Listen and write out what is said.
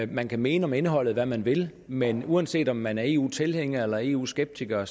man kan mene om indholdet hvad man vil men uanset om man er eu tilhænger eller eu skeptiker